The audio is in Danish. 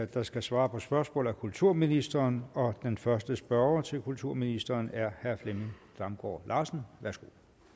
der skal svare på spørgsmål er kulturministeren og den første spørger til kulturministeren er herre flemming damgaard larsen værsgo